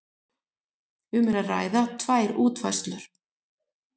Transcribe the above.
Um er að ræða tvær útfærslur